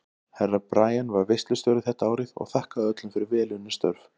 Herra Brian var veislustjóri þetta árið og þakkaði öllum fyrir vel unnin störf.